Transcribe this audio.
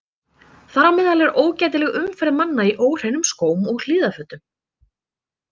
Þar á meðal er ógætileg umferð manna í óhreinum skóm og hlífðarfötum.